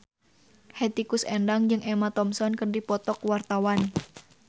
Hetty Koes Endang jeung Emma Thompson keur dipoto ku wartawan